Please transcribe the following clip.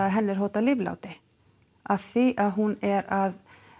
henni er hótað lífláti af því að hún er að